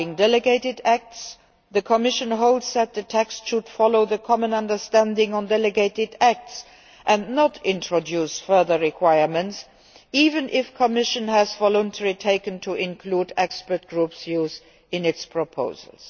Regarding delegated acts, the Commission holds that the text should follow the common understanding on delegated acts and not introduce further requirements, even if the Commission has voluntarily taken to including expert groups' views in its proposals.